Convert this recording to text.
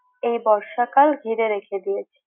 এই বর্ষাকাল ঘিরে রেখে দিয়েছে।